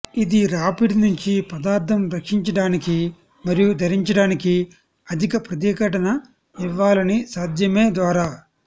ఇది రాపిడి నుంచి పదార్థం రక్షించడానికి మరియు ధరించడానికి అధిక ప్రతిఘటన ఇవ్వాలని సాధ్యమే ద్వారా